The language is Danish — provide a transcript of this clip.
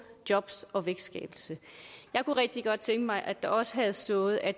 jobs og vækstskabelse jeg kunne rigtig godt tænke mig at der også havde stået at